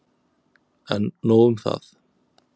En nóg um það.